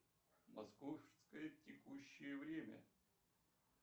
московское текущее время